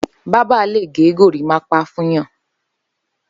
Bàbà lé gẹ górimàpá fùnyàn